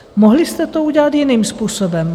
Mohli jste to udělat jiným způsobem.